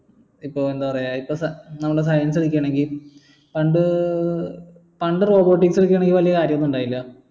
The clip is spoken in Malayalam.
ഇപ്പൊ എന്താ പറയാ ഇപ്പൊ ഏർ നമ്മൾ science എടുക്കാണേൽ പണ്ട് പണ്ട് robotics വെച് വെല്യ കാര്യോ ഒന്നു ഇണ്ടായില്ല